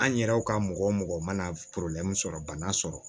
An yɛrɛw ka mɔgɔ mɔgɔ mana sɔrɔ bana sɔrɔ